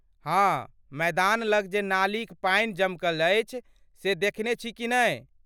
हाँ, मैदान लग जे नालीक पानि जमकल अछि से देखने छी कि नहि?